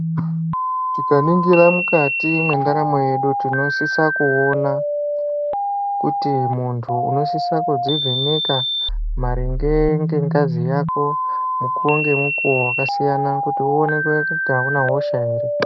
Tikaningira mukati mendaramo yedu tinosisa kuona kuti muntu unosisa kuzvivheneka maringe nengazi yake mukuwo ngemukuwo wakasiyana kuti uonekwe kuti hauna hosha here.